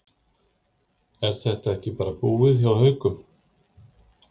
Er þetta ekki bara búið til hjá Haukum?